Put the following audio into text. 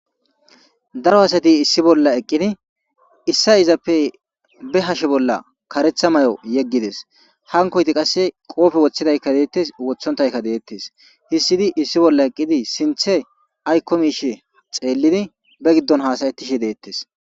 daro asati issi bolla eqqidi issa izappe be hashe bolla karetha may7o yeggides hankoyti qasse qoofe woththidaykka deettes wothontaykka deettes hissidi issi bolla eqqidi sinthe aykko miishe xeellidi be giddon haasayetishe deettes